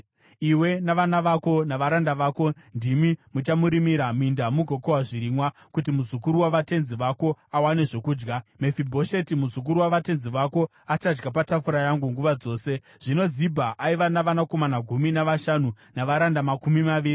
Iwe navana vako navaranda vako ndimi muchamurimira minda mugokohwa zvirimwa, kuti muzukuru wavatenzi vako awane zvokudya. Mefibhosheti, muzukuru wavatenzi vako, achadya patafura yangu nguva dzose.” Zvino Zibha aiva navanakomana gumi navashanu navaranda makumi maviri.